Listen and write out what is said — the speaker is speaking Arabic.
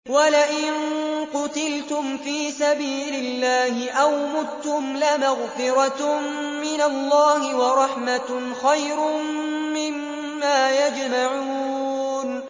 وَلَئِن قُتِلْتُمْ فِي سَبِيلِ اللَّهِ أَوْ مُتُّمْ لَمَغْفِرَةٌ مِّنَ اللَّهِ وَرَحْمَةٌ خَيْرٌ مِّمَّا يَجْمَعُونَ